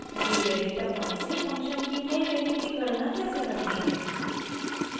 दिए गए data points से फंक्शन की नयी वैल्यू की गणना कैसे करते हैं